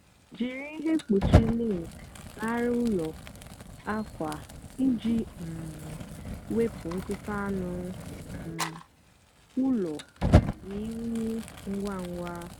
jírí íhè mkpúchi lint nà arịa úló ákwa íjì um wepụ ntutu ánú um úló nà únyì ngwa ngwa.